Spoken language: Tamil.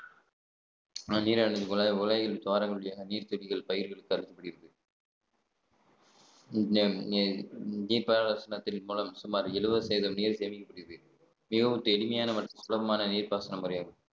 மழை நீரானது குழாய்~ குழாய்களில் உள்ள துவாரங்கள் வழியாக நீர் பாசனத்தின் மூலம் சுமார் எழுபது சதவீதம் நீர் சேமிக்கப்படுகிறது மிகவும் எளிமையான சுலபமான நீர்ப்பாசன முறையாகும்